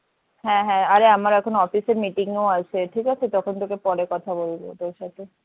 হ্যাঁ হ্যাঁ আরে আমার এখন office এর meeting ও আছে ঠিক আছে তখন তোকে পরে কথা বলবো তোর সাথে